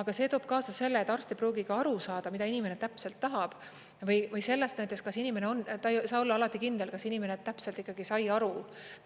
Aga see toob kaasa selle, et arst ei pruugi aru saada, mida inimene täpselt tahab, või ta ei saa olla alati kindel, kas inimene täpselt ikkagi sai aru,